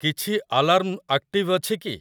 କିଛି alarm active ଅଛି କି?